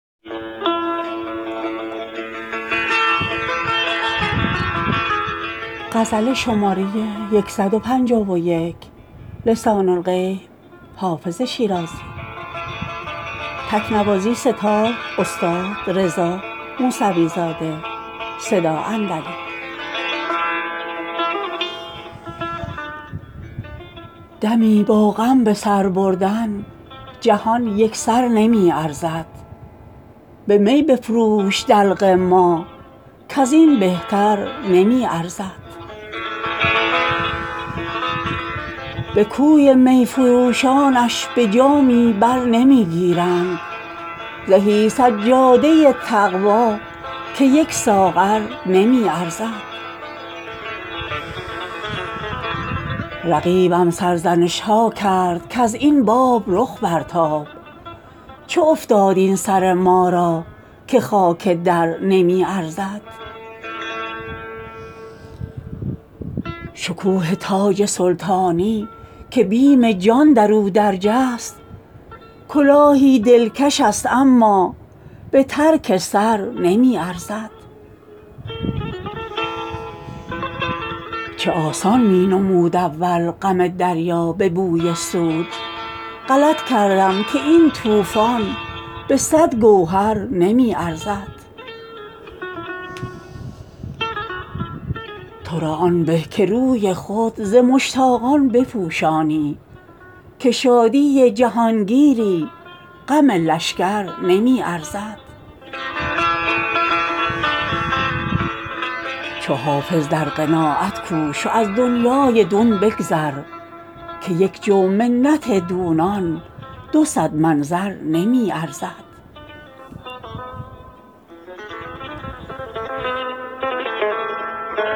دمی با غم به سر بردن جهان یک سر نمی ارزد به می بفروش دلق ما کز این بهتر نمی ارزد به کوی می فروشانش به جامی بر نمی گیرند زهی سجاده تقوا که یک ساغر نمی ارزد رقیبم سرزنش ها کرد کز این باب رخ برتاب چه افتاد این سر ما را که خاک در نمی ارزد شکوه تاج سلطانی که بیم جان در او درج است کلاهی دلکش است اما به ترک سر نمی ارزد چه آسان می نمود اول غم دریا به بوی سود غلط کردم که این طوفان به صد گوهر نمی ارزد تو را آن به که روی خود ز مشتاقان بپوشانی که شادی جهانگیری غم لشکر نمی ارزد چو حافظ در قناعت کوش و از دنیای دون بگذر که یک جو منت دونان دو صد من زر نمی ارزد